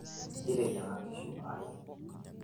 kiteyiang'a nkishu are